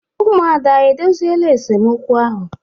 Umuada edoziela esemokwu ahụ?